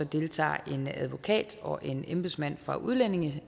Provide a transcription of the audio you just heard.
deltager en advokat og en embedsmand fra udlændinge